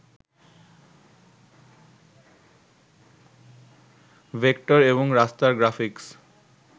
vector এবং raster graphics